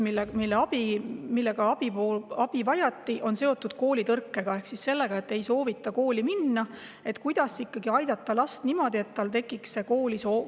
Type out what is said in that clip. Kõige sagedamini on abi vajatud seoses koolitõrkega ehk sellega, et laps ei soovi kooli minna, kuidas ikkagi aidata last niimoodi, et tal tekiks soov kooli minna.